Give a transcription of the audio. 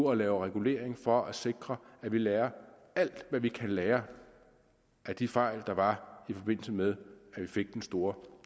og laver regulering for at sikre at vi lærer alt hvad vi kan lære af de fejl der var i forbindelse med at vi fik den store